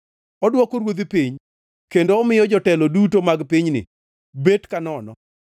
Odwoko ruodhi piny kendo omiyo jotelo duto mag pinyni bet kanono.